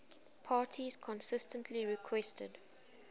parties consistently requested